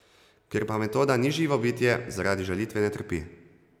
Ker pa metoda ni živo bitje, zaradi žalitve ne trpi.